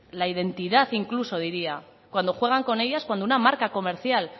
la identidad incluso diría cuando juegan con ellas cuando una marca comercial